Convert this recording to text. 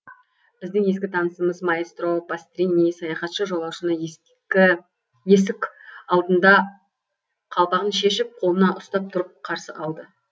біздің ескі танысымыз маэстро пастрини саяхатшы жолаушыны ескі есік алдында қалпағын шешіп қолына ұстап тұрып қарсы алды